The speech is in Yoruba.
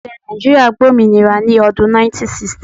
Ilẹ́ Nàìjíríà gba òmìnira ní odún 1960